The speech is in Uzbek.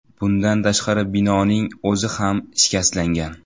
Bundan tashqari binoning o‘zi ham shikastlangan.